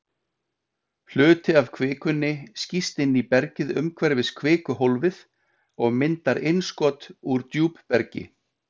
Hluti af kvikunni skýst inn í bergið umhverfis kvikuhólfið og myndar innskot úr djúpbergi.